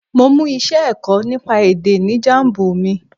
Mo mú iṣẹ́ ẹ̀kọ́ nípa èdè ní Jambu mi.